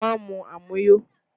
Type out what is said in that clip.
Má mu àmuyó!